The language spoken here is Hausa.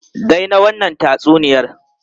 Dai na wannan tatsuniyar!